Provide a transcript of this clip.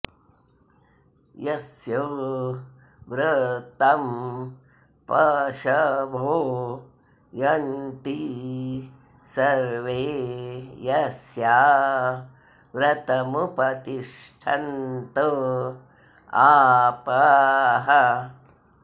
यस्य॑ व्र॒तं प॒शवो॒ यन्ति॒ सर्वे॒ यस्य॑ व्र॒तमु॑प॒तिष्ठ॑न्त॒ आपः॑